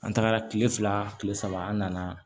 An tagara tile fila kile saba an nana